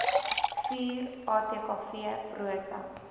vuur atkv prosa